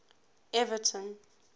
everton